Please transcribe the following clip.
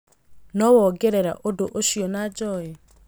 no wongerera ũndũ ũcio na joey